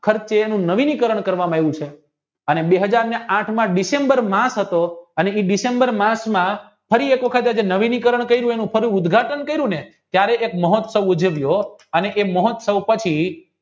ખર્ચે નવીની કારણ કરવામાં આવ્યું છે અને બે હજારને આઠમા ડિસેમ્બર માસ હતો અને ડિસેમ્બર માસમાં ફરી એક વખત નવીનીકરણ કરી ફરી ઉદઘાટન કર્યુંને ત્યારે કંઈક મહોત્સવ ઉજવ્યો અને એ મહોત્સવ પછી